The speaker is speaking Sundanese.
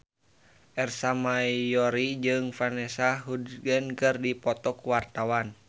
Ersa Mayori jeung Vanessa Hudgens keur dipoto ku wartawan